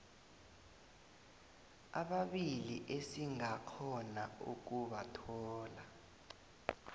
ababili esingakghona ukubathola